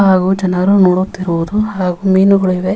ಹಾಗು ಜನರು ನೋಡುತ್ತಿರುವುದು ಹಾಗು ಮೀನುಗಳಿವೆ.